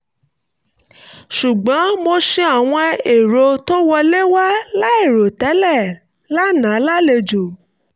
ṣùgbọ́n mo ṣe àwọn èrò tó wọlé wá láìrò tẹ́lẹ̀ lánàá lálejò